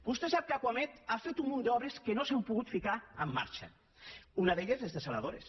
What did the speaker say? vostè sap que acuamed ha fet un munt d’obres que no s’han pogut ficar en marxa una d’elles les dessaladores